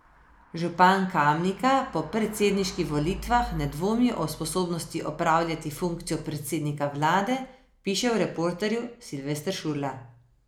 Župan Kamnika po predsedniških volitvah ne dvomi o sposobnosti opravljati funkcijo predsednika vlade, piše v reporterju Silvester Šurla.